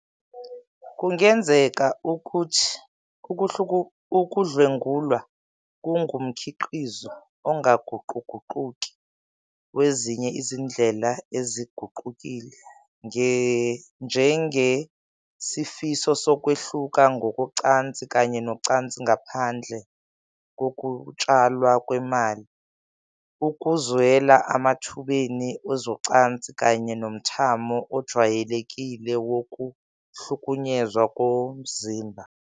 Kungenzeka ukuthi ukudlwengulwa kungumkhiqizo ongaguquguquki wezinye izindlela eziguqukile, njengesifiso sokwehluka ngokocansi kanye nocansi ngaphandle kokutshalwa kwemali, ukuzwela emathubeni ezocansi, kanye nomthamo ojwayelekile wokuhlukunyezwa ngokomzimba.